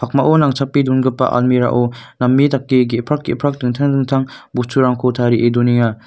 mao nangchape dongipa almira o name dake ge·prak ge·prak dingtang dingtang bosturangko tarie donenga.